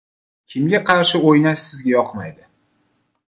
Kimga qarshi o‘ynash sizga yoqmaydi?